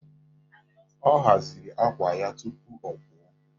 Ọ haziri àkwà ya tupu ọ pụọ.